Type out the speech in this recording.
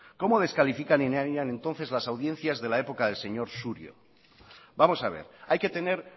cómo descalificarían entonces las audiencias de la época del señor surio vamos a ver hay que tener